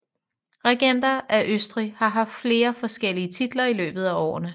Regenter af Østrig har haft flere forskellige titler i løbet af årene